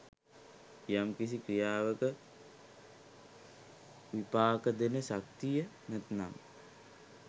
යම් කිසි ක්‍රියාවක විපාක දෙන ශක්තිය නැත්නම්